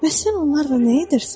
Bəs sən onlarla nə edirsən?